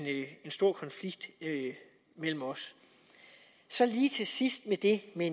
stor konflikt mellem os så lige til sidst om det med